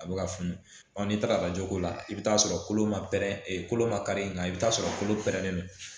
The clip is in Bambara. A bɛ ka funu n'i taara lajɛ ko la i bɛ t'a sɔrɔ kolo ma pɛrɛn ee kolo ma kari in nka i bɛ t'a sɔrɔ kolo pɛrɛnnen don